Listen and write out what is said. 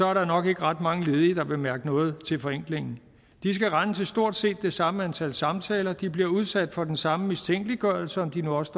er der nok ikke ret mange ledige der vil mærke noget til forenklingen de skal rende til stort set det samme antal samtaler og de bliver udsat for den samme mistænkeliggørelse om de nu også